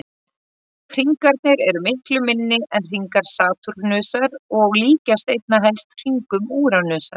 Hringarnir eru miklu minni en hringar Satúrnusar og líkjast einna helst hringum Úranusar.